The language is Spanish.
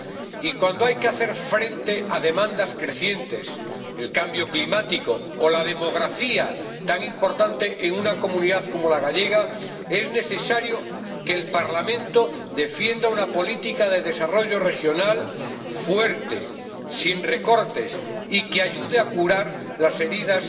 Y, cuando hay que hacer frente a demandas crecientes, el cambio climático o la demografía, tan importante en una comunidad como la gallega, es necesario que el Parlamento defienda una política de desarrollo regional fuerte, sin recortes y que ayude a curar las heridas